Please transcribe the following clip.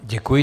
Děkuji.